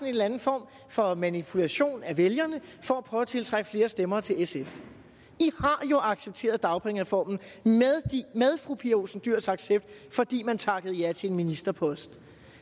eller anden form for manipulation af vælgerne for at prøve at tiltrække flere stemmer til sf i har jo accepteret dagpengereformen med fru pia olsen dyhrs accept fordi man takkede ja til en ministerpost